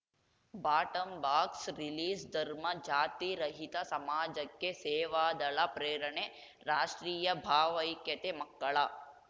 ಬಾಟಂಬಾಕ್ಸರಿಲೀಸ್‌ಧರ್ಮ ಜಾತಿ ರಹಿತ ಸಮಾಜಕ್ಕೆ ಸೇವಾದಳ ಪ್ರೇರಣೆ ರಾಷ್ಟ್ರೀಯ ಭಾವೈಕ್ಯತೆ ಮಕ್ಕಳ